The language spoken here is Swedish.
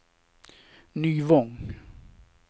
Nyvång